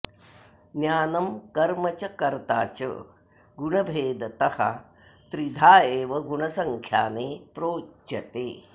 ज्ञानं कर्म च कर्ता च गुणभेदतः त्रिधा एव गुणसङ्ख्याने प्रोच्यते